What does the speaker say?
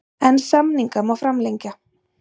En samninga má framlengja.